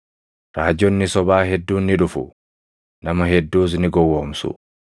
raajonni sobaa hedduun ni dhufu; nama hedduus ni gowwoomsu.